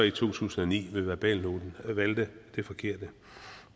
i to tusind og ni med verbalnoten valgte det forkerte